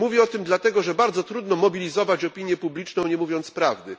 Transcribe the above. Mówię o tym dlatego, że bardzo trudno mobilizować opinię publiczną, nie mówiąc prawdy.